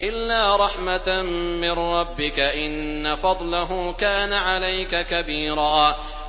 إِلَّا رَحْمَةً مِّن رَّبِّكَ ۚ إِنَّ فَضْلَهُ كَانَ عَلَيْكَ كَبِيرًا